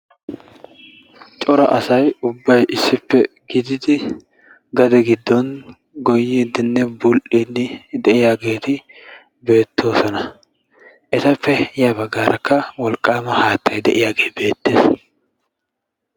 Cora asay issippe gidiidi gade giddon gooyidinne bul"idi de'iyaageti beettoosona. Etappe ya baggaarkka wolqqaama haattay de'iyaagee beettees.